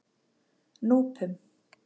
Núpum